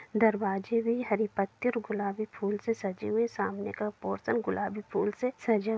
दरवाजे भी हरी पत्ती और गुलाबी फूल से सजी हुई सामने का पोर्शन गुलाबी फूल से सजा --